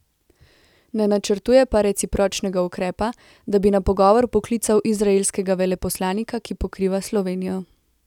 Ne načrtuje pa recipročnega ukrepa, da bi na pogovor poklical izraelskega veleposlanika, ki pokriva Slovenijo.